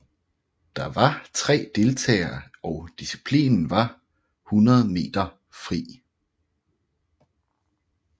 Der var tre deltagere og disciplinen var 100 meter fri